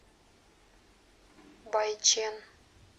байчэн